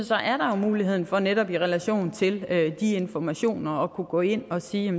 mulighed for netop i relation til de informationer at kunne gå ind og sige